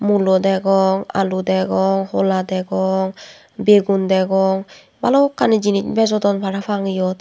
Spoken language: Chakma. mulo degong alu degong hola degong bigun degon balokkani jinich bejodon parapang iot.